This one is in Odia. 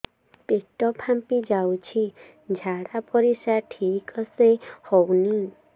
ପେଟ ଫାମ୍ପି ଯାଉଛି ଝାଡ଼ା ପରିସ୍ରା ଠିକ ସେ ହଉନି